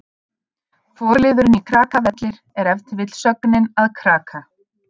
Forliðurinn í Krakavellir er ef til vill sögnin að kraka.